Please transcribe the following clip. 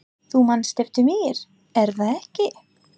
Þú manst eftir mér, er það ekki?